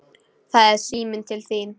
Það er síminn til þín.